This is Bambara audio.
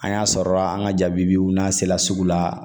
An y'a sɔrɔ an ka jabibiw n'an sela sugu la